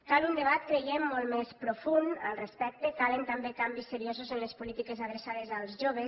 cal un debat creiem molt més profund al respecte calen també canvis seriosos en les polítiques adreçades als joves